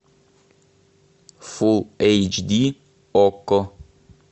фул эйч ди окко